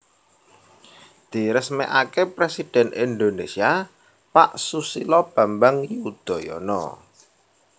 Diresmekake Presiden Indonesia Pak Susilo Bambang Yudhoyono